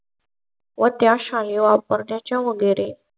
व त्या शाळे वापर त्याच्या वगैरे.